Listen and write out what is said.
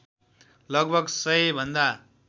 लगभग १०० भन्दा